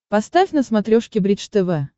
поставь на смотрешке бридж тв